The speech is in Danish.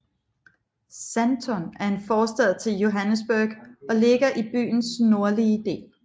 Sandton er en forstad til Johannesburg og ligger i byens nordlige del